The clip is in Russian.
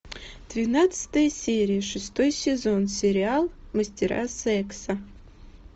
двенадцатая серия шестой сезон сериал мастера секса